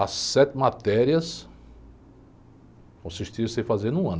As sete matérias consistiam em você fazer em um ano.